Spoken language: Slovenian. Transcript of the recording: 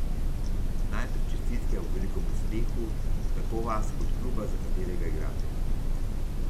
Najprej čestitke ob velikem uspehu tako vas kot kluba za katerega igrate.